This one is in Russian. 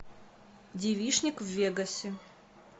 девичник в вегасе